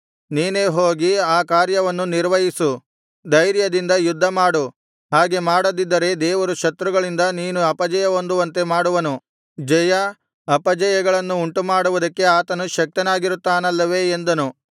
ನೀನೇ ಹೋಗಿ ಆ ಕಾರ್ಯವನ್ನು ನಿರ್ವಹಿಸು ಧೈರ್ಯದಿಂದ ಯುದ್ಧಮಾಡು ಹಾಗೆ ಮಾಡದಿದ್ದರೆ ದೇವರು ಶತ್ರುಗಳಿಂದ ನೀನು ಅಪಜಯಹೊಂದುವಂತೆ ಮಾಡುವನು ಜಯಾ ಅಪಜಯಗಳನ್ನು ಉಂಟುಮಾಡುವುದಕ್ಕೆ ಆತನು ಶಕ್ತನಾಗಿರುತ್ತಾನಲ್ಲವೆ ಎಂದನು